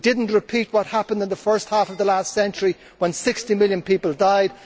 We did not repeat what happened in the first half of the last century when 60 million people died.